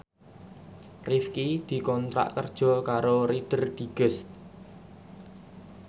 Rifqi dikontrak kerja karo Reader Digest